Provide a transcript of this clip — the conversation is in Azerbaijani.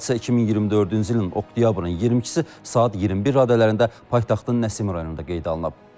Hadisə 2024-cü ilin oktyabrın 22-si saat 21 radələrində paytaxtın Nəsimi rayonunda qeydə alınıb.